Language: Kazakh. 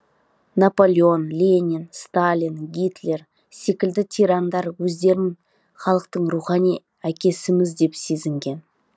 наполеон ленин сталин гитлер секілді тирандар өздерін халықтың рухани әкесіміз деп сезінген